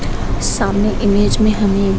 सामने में इमेज हमें --